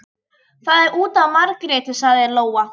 Það er út af Margréti, sagði Lóa.